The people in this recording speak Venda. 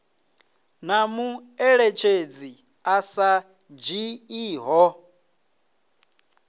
na mueletshedzi a sa dzhiiho